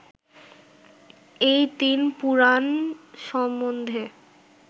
এই তিন পুরাণ সম্বন্ধে